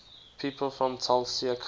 people from tulcea county